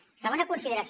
segona consideració